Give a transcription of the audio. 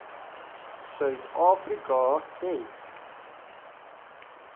suid afrika het